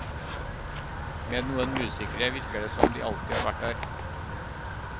Med noen musikere virker det som de alltid har vært der.